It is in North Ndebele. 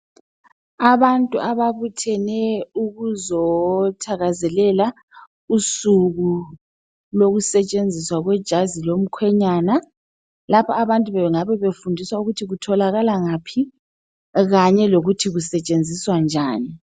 abantu ababuthene ukuzothakazelela usuku lokusetshenziswa kwejazi lomkhenyana laba abantu bengabe befundiswa ukuthi kutholakala ngaphi kanye lokuthi kusetshenziswa njani